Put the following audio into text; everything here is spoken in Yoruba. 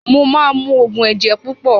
Mo ma mu oògùn ẹ̀jẹ̀ púpọ̀